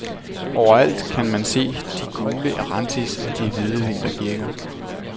Overalt kan man se de gule erantis og de hvide vintergækker.